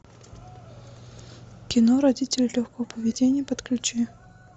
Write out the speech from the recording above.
кино родители легкого поведения подключи